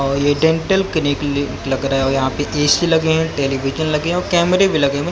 और ये dental clinic लग रहा है और यहा पे ए_सी लगे है टेलीविजन लगे है और कैमरे भी लगे--